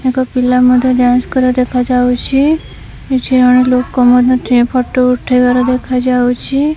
ତାଙ୍କ ପିଲା ମଧ୍ୟ ଡାନ୍ସ କରିବାର ଦେଖାଯାଉଛି କିଛି ଜଣ ଲୋକ ମଧ୍ୟ ଠିଆ ଫଟୋ ଉଠେଇବାର ଦେଖାଯାଉଛି।